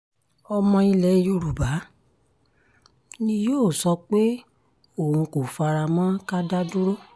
ọmọ ilẹ̀ yoruba ni yóò sọ pé òun kò fara mọ́ ká da dúró